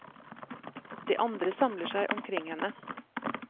De andre samler seg omkring henne.